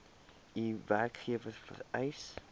u werkgewer vereis